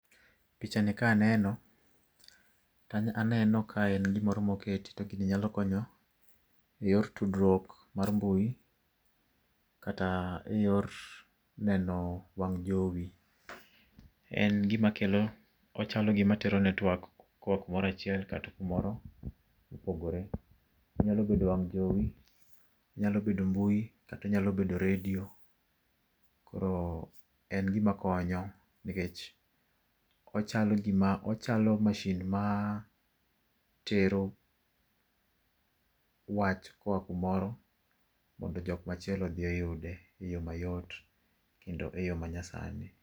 Pichani ka aneno to aneno ka en gimoro moket to gini nyalo konyo eyor tudruok eyor mbui, kata eyor neno wang' jowi. En gima kelo ochalo gima tero network koa kumoro achiel kata kumoro mopogore. Onyalo bedo wang' jowi, onyalo bedo mbui kata onyalo bedo redio. Koro en gima konyo nikech ochalo gima ochalo masin ma tero wach koa kumoro mondo jok machielo odhi oyude mayot kendo eyo manyasani.